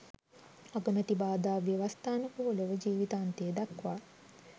අගමැති බාධා ව්‍යවස්ථානුකූලව ජීවිතාන්තය දක්වා